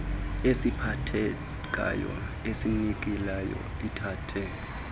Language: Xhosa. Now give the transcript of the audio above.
esiphathekayo esinikileyo ithathe